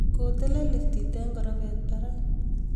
ko telel liftit eng korofet barak